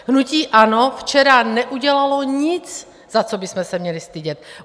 Hnutí ANO včera neudělalo nic, za co bychom se měli stydět.